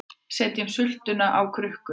Setjum sultuna á krukkur